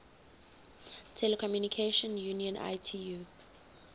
telecommunication union itu